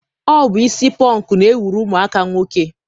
Ọ bụ isi pọnk na-ewuru ụmụaka nwoke.